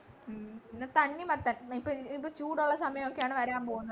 ഉം പിന്നെ തണ്ണിമത്തൻ ഇപ്പൊ ഈ ഇപ്പൊ ചൂടുള്ള സമയൊക്കെയാണ് വരൻ പോകുന്നത്